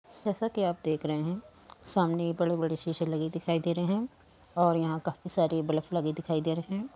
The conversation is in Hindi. जैसा कि आप देख रहे हैं सामने बड़े-बड़े शीशे लगे दिखाई दे रहे हैं और यहाँ काफी सारी बल्फ लगे दिखाई दे रहे हैं।